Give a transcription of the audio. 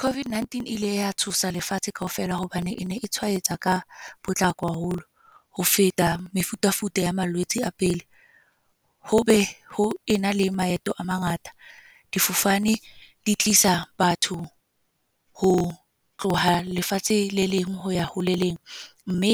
COVID-19 ile ya tshosa lefatshe kaofela. Hobane e ne e tshwaetsa ka potlako haholo, ho feta mefutafuta ya malwetse a pele. Ho be ho ena le maeto a mangata. Difofane di tlisa batho ho tloha lefatshe le leng ho ya ho le leng. Mme